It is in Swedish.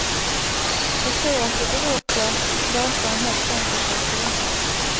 Jag tror att det beror på att låtarna helt enkelt är fina.